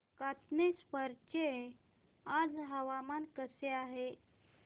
कातनेश्वर चे आज हवामान कसे आहे